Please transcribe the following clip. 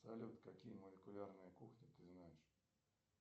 салют какие молекулярные кухни ты знаешь